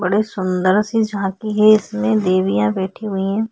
बड़े सुन्दर सी झांकी है इसमें देवियाँ बेठी हुई है।